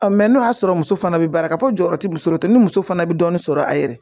n'o y'a sɔrɔ muso fana bi baara ka fɔ jɔyɔrɔ ti muso ta ni muso fana bɛ dɔɔnin sɔrɔ a yɛrɛ ye